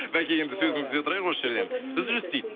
бәке енді сөзіңізді үзе тұрайық осы жерден үзіліс дейді